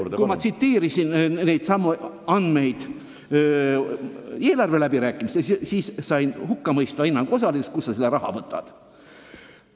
Kunagi ma tsiteerisin neidsamu lubadusi eelarveläbirääkimistel ja sain hukkamõistva hinnangu osaliseks: kust sa selle raha võtad!?